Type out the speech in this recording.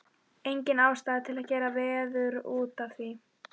Engin ástæða til að gera veður út af því.